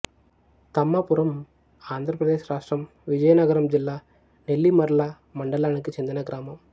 తమ్మపురంఆంధ్ర ప్రదేశ్ రాష్ట్రం విజయనగరం జిల్లా నెల్లిమర్ల మండలానికి చెందిన గ్రామం